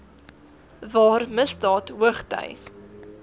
waar misdaad hoogty